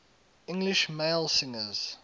english male singers